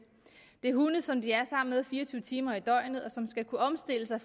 det er hunde som de er sammen med fire og tyve timer i døgnet og som skal kunne omstille sig